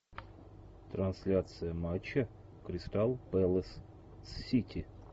трансляция матча кристал пэлас с сити